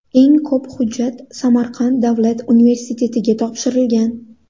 Eng ko‘p hujjat Samarqand davlat universitetiga topshirilgan.